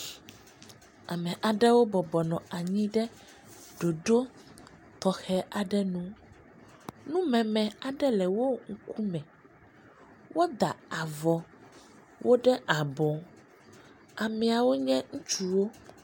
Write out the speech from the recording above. Ame aɖewo bɔbɔ nɔanyi ɖe ɖoɖo tɔxɛ aɖenu, numeme aɖe le wo ŋkume, woda avɔwo ɖe abɔ ameawo nye ŋutsuwo.